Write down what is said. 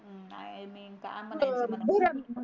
I mean काय म्हनाच धरण